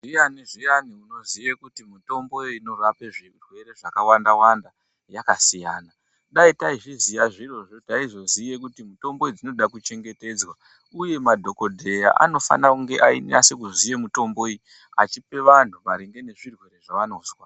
Ndiyani zviyani unoziya kuti mitombo iyi inorape zvirwere zvakawanda wanda yakasiyana. Dai taizviziya zvirozvo taizoziya Kuti mitombo idzi dzinoda chengetedzwa . Uye madhokodheya anofana kungeeinyasoziya mitombo iyi achipe vantu maringe nezvirwere zvavanonzwa.